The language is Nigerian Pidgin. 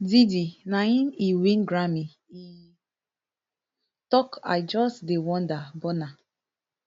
diddy na im e win grammy e tok i just dey wonder burna